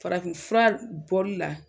Farafi fura bɔli la.